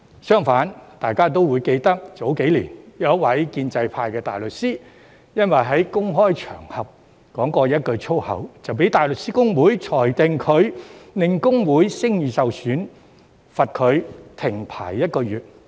相反，大家也會記得，早幾年，有一位建制派的大律師因為在公開場合說過一句粗口，就被大律師公會裁定他令公會聲譽受損，罰他停牌一個月。